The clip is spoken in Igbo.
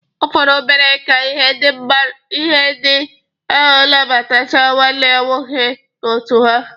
Ọ fọrọ obere ihe ka ndị ahụ nabatachaa nwanne m nwoke n'otu ha.